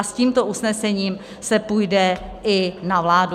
A s tímto usnesením se půjde i na vládu.